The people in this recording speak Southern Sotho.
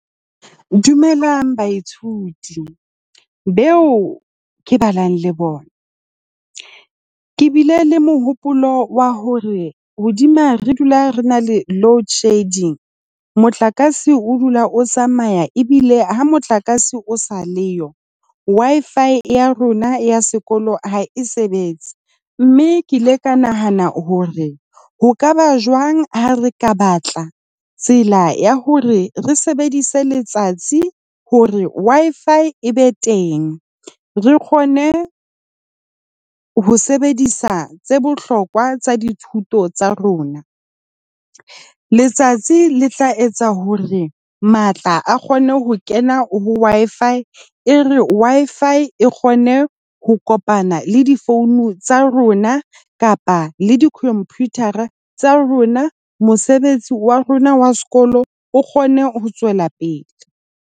Dumelang, baithuti beo ke balang le bona. Ke bile le mohopolo wa hore hodima re dula re na le loadshedding, motlakase o dula o tsamaya ebile ha motlakase o sa le yo, Wi-Fi ya rona ya sekolo ha e sebetse. Mme ke ile ka nahana hore ho ka ba jwang ha re ka batla tsela ya hore re sebedise letsatsi hore Wi-Fi e be teng. Re kgone ho sebedisa tse bohlokwa tsa dithuto tsa rona. Letsatsi le tla etsa hore matla a kgone ho kena ho Wi-Fi e re Wi-Fi e kgone ho kopana le di-phone tsa rona kapa le di-computer-a tsa rona. Mosebetsi wa rona wa sekolo o kgone ho tswela pele.